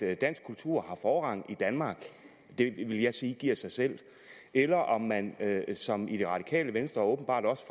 at dansk kultur har forrang i danmark det vil jeg sige giver sig selv eller om man som i det radikale venstre og åbenbart også